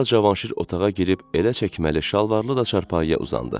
Sonra Cavanşir otağa girib elə çəkməli, şalvarlı da çarpayıya uzandı.